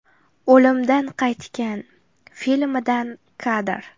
“O‘limdan qaytgan” filmidan kadr.